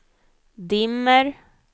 dimmer